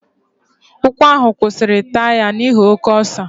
Ụkwụ ahụ kwụsịrị taya n'ihi oke ọsọ.